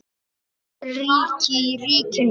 Ríki í ríkinu?